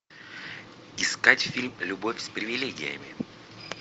искать фильм любовь с привилегиями